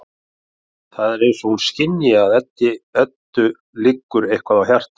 Það er eins og hún skynji að Eddu liggur eitthvað á hjarta.